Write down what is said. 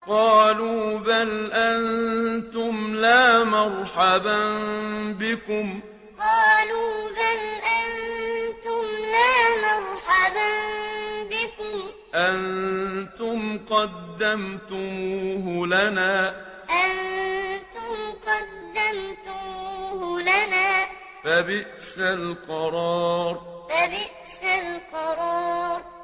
قَالُوا بَلْ أَنتُمْ لَا مَرْحَبًا بِكُمْ ۖ أَنتُمْ قَدَّمْتُمُوهُ لَنَا ۖ فَبِئْسَ الْقَرَارُ قَالُوا بَلْ أَنتُمْ لَا مَرْحَبًا بِكُمْ ۖ أَنتُمْ قَدَّمْتُمُوهُ لَنَا ۖ فَبِئْسَ الْقَرَارُ